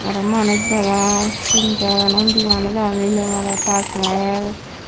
aro manuj degong tinjon undi manuj agon mile mirot taj mehal.